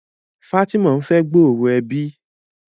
Fatima n'fe gbooro ẹbí.